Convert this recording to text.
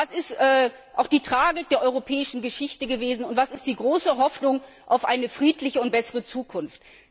Was war die Tragik der europäischen Geschichte, und was ist die große Hoffnung auf eine friedliche und bessere Zukunft?